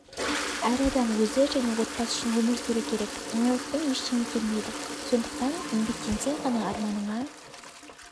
әр адам өзі және отбасы үшін өмір сүру керек оңайлықпен ештеңе келмейді сондықтан еңбектенсең ғана арманыңа